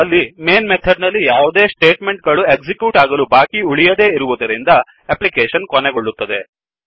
ಅಲ್ಲಿ main method ನಲ್ಲಿ ಯಾವುದೇ ಸ್ಟೇಟ್ ಮೆಂಟ್ ಗಳು ಎಕ್ಸಿಕ್ಯೂಟ್ ಆಗಲು ಬಾಕಿ ಉಳಿಯದೇ ಇರುವದರಿಂದ ಎಪ್ಲಿಕೇಶನ್ ಕೊನೆಗೊಳ್ಳುತ್ತದೆ